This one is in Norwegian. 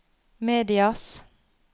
medias